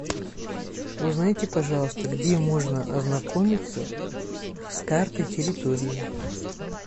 узнайте пожалуйста где можно ознакомиться с картой территории